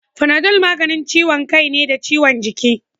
Panadol maganin ciwon kai ne da ciwon jiki